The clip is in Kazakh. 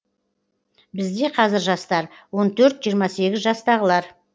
бізде қазір жастар он төрт жиырма сегіз жастағылар